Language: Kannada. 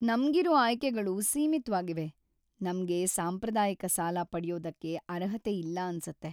ನಮ್ಗಿರೋ ಆಯ್ಕೆಗಳು ಸೀಮಿತ್ವಾಗಿವೆ! ನಮ್ಗೆ ಸಾಂಪ್ರದಾಯಿಕ ಸಾಲ ಪಡ್ಯೋದಕ್ಕೆ ಅರ್ಹತೆ ಇಲ್ಲ ಅನ್ಸತ್ತೆ.